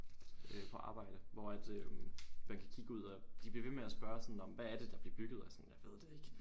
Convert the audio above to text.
Øh på arbejde hvor at øh man kan kigge ud og de bliver ved med at spørge sådan nå men hvad er det der bliver bygget og sådan jeg ved det ikke